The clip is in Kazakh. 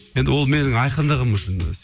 енді ол менің айқындығым үшін өзі